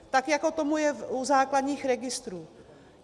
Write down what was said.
Tak jako tomu je u základních registrů.